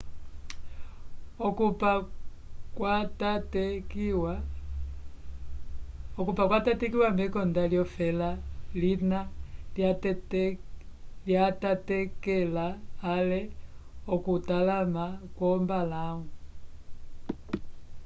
okupa kwatatekiwa mekonda lyofela lina lyatatekela-ale okutalama kwombalãwu